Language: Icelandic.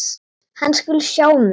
Hann skuli sjá um þetta.